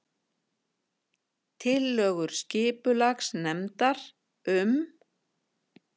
Tillögur skipulagsnefndar um